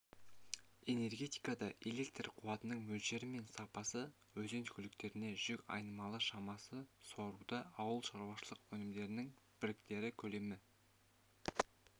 энергетикада электр қуатының мөлшері мен сапасы өзен көліктерінде жүк айналымы шамасы суаруда ауылшаруашылық өнімдерінің біртекті көлемі